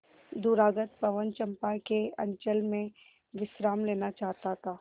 दूरागत पवन चंपा के अंचल में विश्राम लेना चाहता था